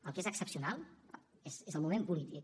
el que és excepcional és el moment polític